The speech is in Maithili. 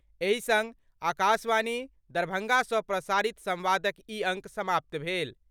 एहि संग आकाशवाणी, दरभंगा सँ प्रसारित संवादक ई अंक समाप्त भेल।